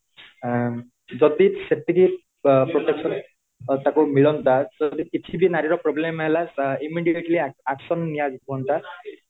ଆଁ ଯଦି ସେତିକି protection ତାକୁ ମିଳନ୍ତା ସେ କିଛିବି ନାରୀ ର problem ହେଲା immediately action ନିଆହୁଅନ୍ତା